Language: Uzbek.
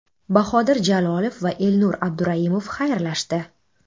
Bahodir Jalolov va Elnur Abduraimov xayrlashdi.